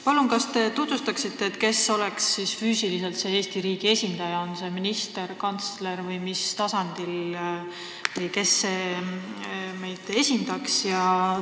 Palun, kas te ütleksite, kes on Eesti riigis see minister, kantsler või kes tahes, kes meid selles organisatsioonis esindaks?